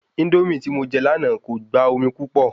Índómì tí mo je lànà ko gba omi púpọ̀